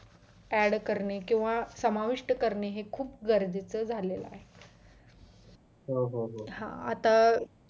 add करणे किंवा समाविष्ट करणे हे खूप गरजेचे झालेला आहे हा आता